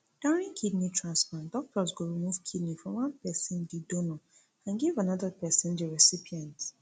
during kidney transplant doctors go remove kidney from one pesin di donor and give anoda pesin di recipient